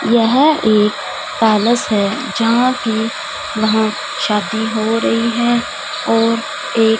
यह एक पैलेस है जहां कि वहां शादी हो रही है और एक--